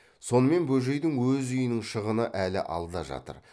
сонымен бөжейдің өз үйінің шығыны әлі алда жатыр